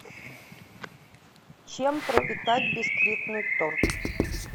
чем пропитать бисквитный торт